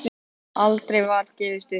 Aldrei var gefist upp.